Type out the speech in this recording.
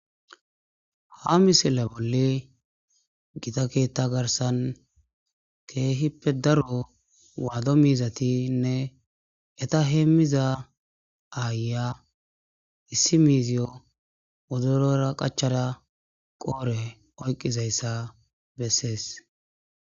ha misile bolle gita keetta garsan keehippe daro waado miizatinne eta heemmiza aaya issi miiziyo wodurora qachara qoore oyqqizayssa bessees